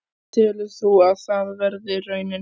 Telur þú að það verði raunin?